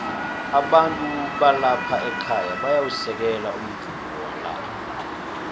abantu balapha ekhaya bayawusekela umvumo wala